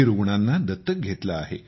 रुग्णांना दत्तक घेतले आहे